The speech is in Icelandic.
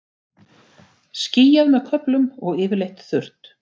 Skýjað með köflum og yfirleitt þurrt